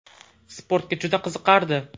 Sportga juda qiziqardi.